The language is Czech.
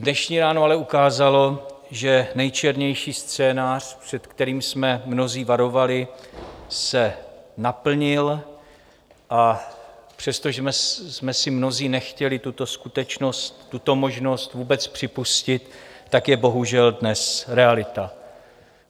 Dnešní ráno ale ukázalo, že nejčernější scénář, před kterým jsme mnozí varovali, se naplnil, a přestože jsme si mnozí nechtěli tuto skutečnost, tuto možnost vůbec připustit, tak je bohužel dnes realita.